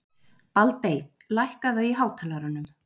Baldey, lækkaðu í hátalaranum.